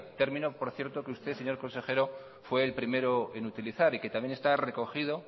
término por cierto que usted señor consejero fue el primero en utilizar y que también está recogido